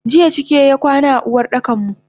Jiya cike y akwana a Uwardakanmu.